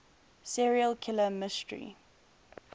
serial killer mystery